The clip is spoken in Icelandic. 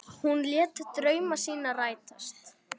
Hún lét drauma sína rætast.